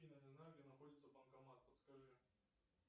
афина не знаю где находится банкомат подскажи